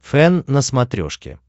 фэн на смотрешке